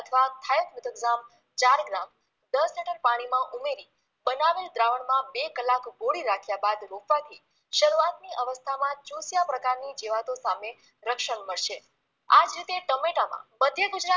થાયસ મિટોક્ગ્રામ ચાર ગ્રામ દસ લિટર પાણીમાંં ઉમેરી બનાવેલ દ્રાવણમાં બે કલાક બોળી રાખ્યા બાદ રોપવાથી શરૂઆતની અવસ્થામાંં ચુસિયા પ્રકારની જીવાતો સામે રક્ષણ મળશે આ જ રીતે ટમેટામાં મધ્ય ગુજરાત